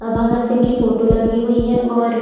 और भगत सिंह कि फ़ोटो लगी हुई है और--